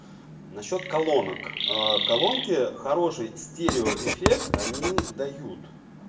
насчёт колонок ээ колонки хороший стереоэффект они дают